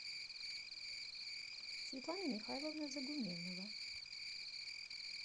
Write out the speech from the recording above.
светлана михайловна загуменнова